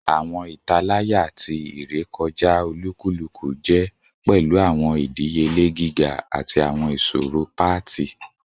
Awọn italaya ti irekọja olukuluku jẹ pẹlu awọn idiyele giga ati awọn iṣoro paati